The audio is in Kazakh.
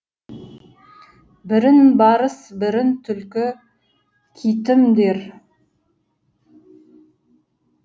бірін барыс бірін түлкі китім дер